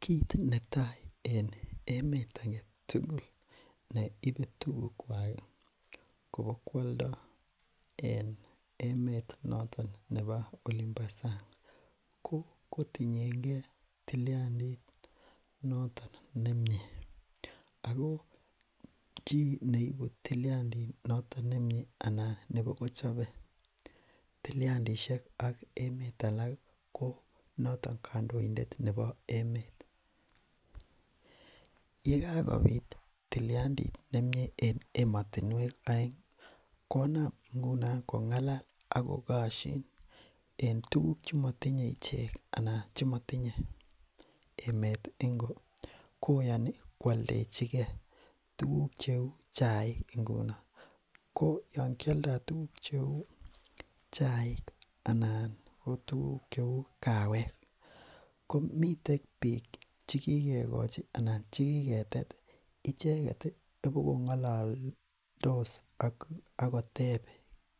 kit netai en emet agetugul neibe tugukwak kobo kwoldo en emet nebo olimbo sang kokotienge tiliandit noton nemie ako chi neibu tiliandit noton nemie anan nebokochobe tiliandishek ak emet alaki ko notok kandoindet nebo emet yakakobit tiliandit nemie en emotinwek oengi konam ngunon kongalal ako koshin en tuguk chemotinye ichek anan chemotinye emet ingo koyoni kwoldechikee tuguk cheu chaik ko yoon kioldo tuguk cheu chaik anan kotuguk cheu kaawek komiten biik chekikochi anan chekiketet icheket ibokongololdos ak akoteb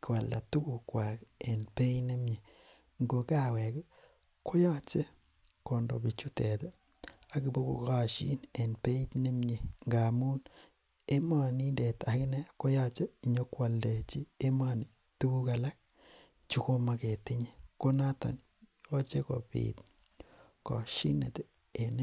koalda tugukwaki en beit nemie ngo kaaweki koyoche kondo bichutet ak ibokokoshin en beit nemie ngamun emonindet akine koyoche nyokwoldechi emoni tuguk aalak chekomoketinye knotoni yoche kobit koshineti en